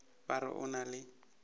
ba re o na le